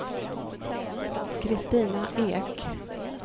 Kristina Ek